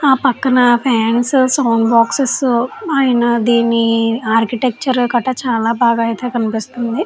ఆ పక్కన fans sound boxes ఆయన దీని ఆర్కిటెక్చర్ కట చాలా బాగా అయితే కనిపిస్తుంది.